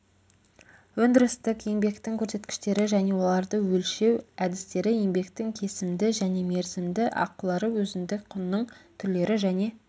өндірістік еңбектің көрсеткіштері және оларды өлшеу әдістері еңбектің кесімді және мерзімді ақылары өзіндік құнның түрлері және